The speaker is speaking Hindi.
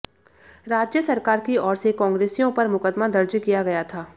राज्य सरकार की ओर से कांग्रेसियों पर मुकदमा दर्ज किया गया था